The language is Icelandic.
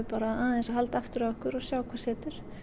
bara aðeins að halda aftur af okkur og sjá hvað setur